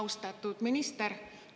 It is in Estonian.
Austatud minister!